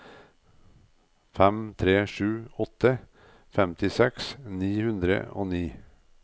fem tre sju åtte femtiseks ni hundre og ni